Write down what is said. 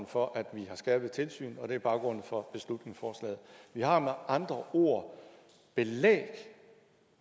for at vi har skærpet tilsyn og det er baggrunden for beslutningsforslaget vi har med andre ord belæg